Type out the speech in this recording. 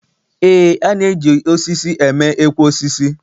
E na-eji osisi eme ekwe osisi.